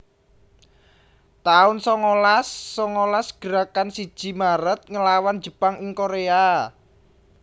taun songolas songolas Gerakan siji Maret nglawan Jepang ing Korea